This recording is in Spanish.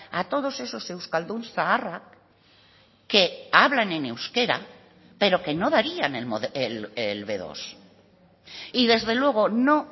a todos esos euskaldun zaharrak que hablan en euskera pero que no darían el be dos y desde luego no